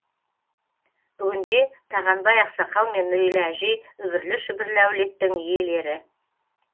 бүгінде тағанбай ақсақал мен нұрила әжей үбірлі шүбірлі әулеттің иелері